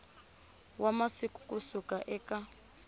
wa masiku ku suka eka